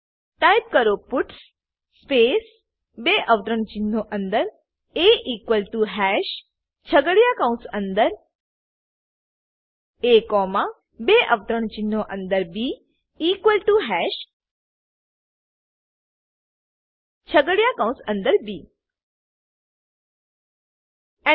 type કરો puts space બે અવતરણચિહ્નો અંદર એ ઇક્વલ ટીઓ હાશ છગડીયા કૌંસ અંદર એ કોમા બે અવતરણચિહ્નો અંદર બી ઇક્વલ ટીઓ હાશ છગડીયા કૌંસ અંદર બી Enter